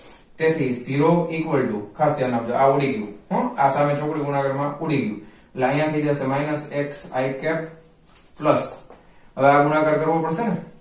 તેથી zero equals to ખાસ ધ્યાન આપજો આ આવડી ગ્યું હોં આ સામે ચોકડી ગુણાકાર માં ઉડી ગ્યું એટલે આયા થઇ જશે minus xi cap plus હવે આ ગુણાકાર કરવો પડશે ને